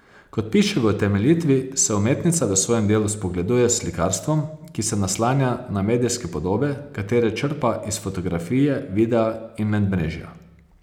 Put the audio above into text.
Kot piše v utemeljitvi, se umetnica v svojem delu spogleduje s slikarstvom, ki se naslanja na medijske podobe, katere črpa iz fotografije, videa in medmrežja.